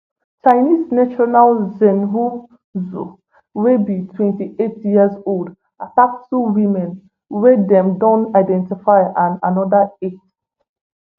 chinese national zhenhao zou wey be twenty-eight years old attack two women wey dem don identify and anoda eight